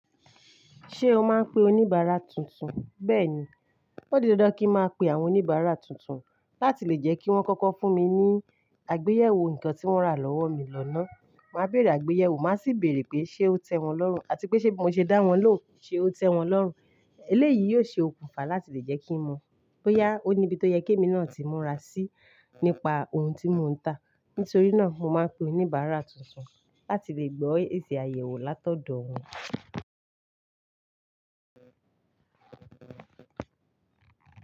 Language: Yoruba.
Ṣé o máa ń pe oníbàárà tuntun? Bẹ́ẹ̀ni, ó di dandan kin máa pe àwọn oníbàárà tuntun láti lè jẹ́ kí wọ́n kọ́kọ́ fún mi ní àgbéyẹ̀wò nǹkan tí wọ́n rà lọ́wọ́ mi lọ́ náà. Màá bèèrè àgbéyẹ̀wò, màá sì bèèrè pé ṣé ó tẹ́ wọn lọ́rùn àti pé ṣé bí mo ṣe dá wọn ló, ṣé ó tẹ́ wọn lọ́rùn. Eléyìí yóò ṣe òkùnfà láti lè jẹ́ kí mo mọ̀ bóyá ó ní bí tó yẹ kí èmi náà tí múra sí nípa ohun tí mò ń tà. Nítorí náà, mo máa ń pe oníbàárà tuntun láti lè gbọ́ èsì àyẹ̀wò látọ̀dọ̀ wọn.